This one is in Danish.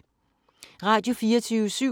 Radio24syv